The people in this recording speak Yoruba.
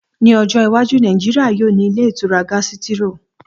Ní ọjọ́ iwájú, Nàìjíríyà yóò ní ilé ìtura gásítírò